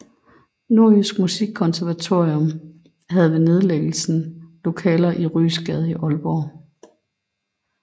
Nordjysk Musikkonservatorium havde ved nedlæggelsen lokaler i Ryesgade i Aalborg